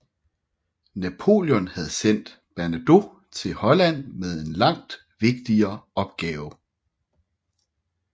Napoléon havde sendt Bernadotte til Holland med en langt vigtigere opgave